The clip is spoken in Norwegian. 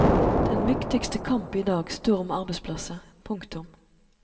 Den viktigste kamp idag står om arbeidsplasser. punktum